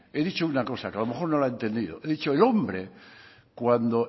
que a lo mejor no la ha entendido he dicho el hombre